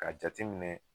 Ka jateminɛ